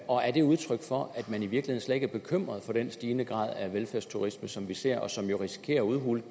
og er det udtryk for at man i virkeligheden slet ikke er bekymret for den stigende grad af velfærdsturisme som vi ser og som jo risikerer at udhule